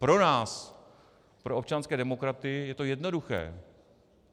Pro nás, pro občanské demokraty, je to jednoduché.